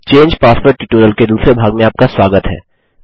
चंगे password tutorial के दूसरे भाग में आपका स्वागत है